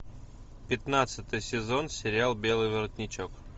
пятнадцатый сезон сериал белый воротничок